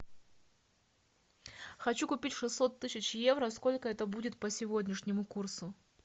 хочу купить шестьсот тысяч евро сколько это будет по сегодняшнему курсу